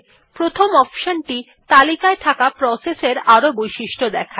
প্রথম অপশন টি তালিকায় থাকা প্রসেস এর আরো বৈশিষ্ট্য দেখায়